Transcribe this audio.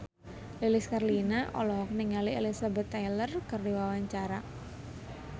Lilis Karlina olohok ningali Elizabeth Taylor keur diwawancara